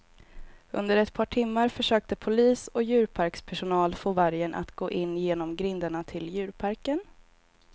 Under ett par timmar försökte polis och djurparkspersonal få vargen att gå in genom grindarna till djurparken.